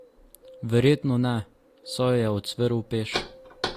Verjetno ne, saj jo je ucvrl peš.